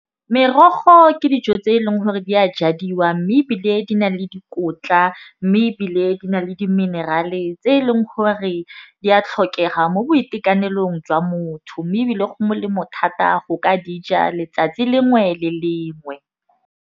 Merogo ke dijo tse e leng gore di a jadiwa. Mme ebile di na le dikotla. Mme ebile di na le di-mineral-e tse eleng gore di a tlhokega mo boitekanelong jwa motho. Mme ebile go molemo thata go ka dija letsatsi lengwe le lengwe.